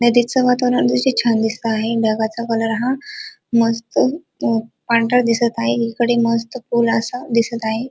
नदीचं वातावरण अतिशय छान दिसत आहे ढगाचा कलर हा मस्त अ पांढरा दिसत आहे एकीकडे मस्त पूल असा दिसत आहे.